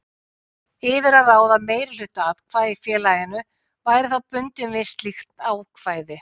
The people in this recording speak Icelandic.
yfir að ráða meirihluta atkvæða í félaginu væri þá bundinn við slíkt ákvæði.